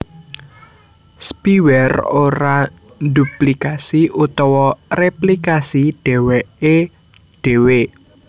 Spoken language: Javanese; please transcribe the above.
Spiware ora ndhuplikasi utawa réplikasi dhèwèké dhéwé